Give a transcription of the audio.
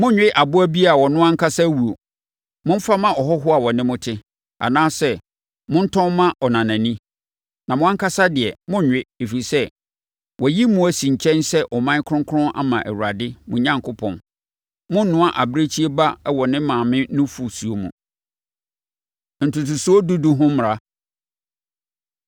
Monnwe aboa bi a ɔno ankasa awuo. Momfa ma ɔhɔhoɔ a ɔne mo te, anaasɛ montɔn ma ɔnanani. Na mo ankasa deɛ, monnwe, ɛfiri sɛ, wɔayi mo asi nkyɛn sɛ ɔman kronkron ama Awurade, mo Onyankopɔn. Monnoa abirekyie ba wɔ ne maame nufosuo mu. Ntotosoɔ Dudu Ho Mmara